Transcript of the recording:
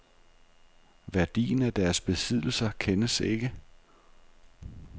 Værdien af deres besiddelser kendes ikke.